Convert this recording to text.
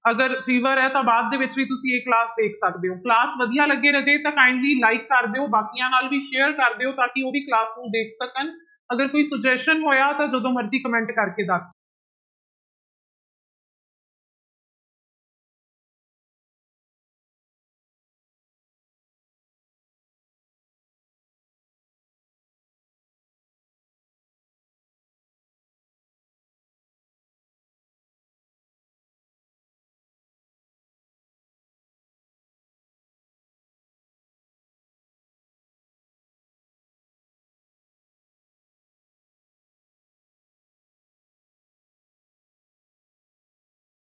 ਅਗਰ fever ਹੈ ਤਾਂ ਬਾਅਦ ਦੇ ਵਿੱਚ ਵੀ ਤੁਸੀਂ ਇਹ class ਦੇਖ ਸਕਦੇ ਹੋ class ਵਧੀਆ ਲੱਗੀ ਰਾਜੇ ਤਾਂ kindly like ਕਰ ਦਿਓ ਬਾਕੀਆਂ ਨਾਲ ਵੀ share ਕਰ ਦਿਓ ਤਾਂ ਕਿ ਉਹ ਵੀ class ਨੂੰ ਦੇਖ ਸਕਣ, ਅਗਰ ਕੋਈ suggestion ਹੋਇਆ ਤਾਂ ਜਦੋਂ ਮਰਜ਼ੀ comment ਕਰਕੇ ਦੱਸ